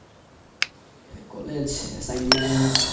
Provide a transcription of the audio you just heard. college assignments